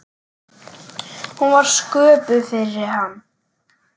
Hún var sköpuð fyrir hann.